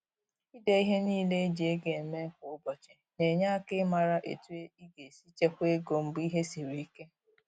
Ide ihe niile e ji ego eme kwa ụbọchị na-enye aka ịmara etu ị ga-esi chekwaa ego mgbe ihe siri ike.